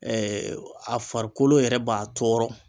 Ɛɛ a farikolo yɛrɛ b'a tɔɔrɔ